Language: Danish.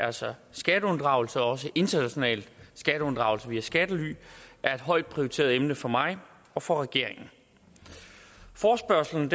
altså skatteunddragelse og også international skatteunddragelse via skattely er et højt prioriteret emne for mig og for regeringen forespørgslen